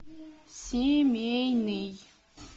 семейный